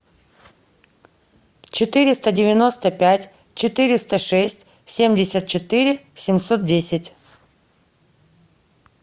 четыреста девяносто пять четыреста шесть семьдесят четыре семьсот десять